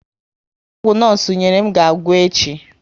Ọgwụ nosu nyerem ga agwụ echi